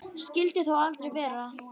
Skyldi þó aldrei vera.